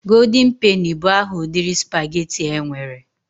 Golden peni bụ aha ụdịrị spaghetti e nwere.